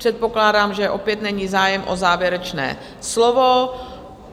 Předpokládám, že opět není zájem o závěrečné slovo.